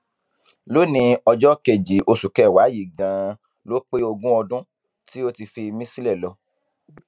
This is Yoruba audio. lónìín ọjọ kejì oṣù kẹwàá yìí ganan ló pé ogún ọdún tí ó ti fi mí sílẹ lọ